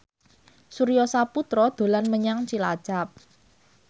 Surya Saputra dolan menyang Cilacap